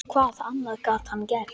Hvað annað gat hann gert?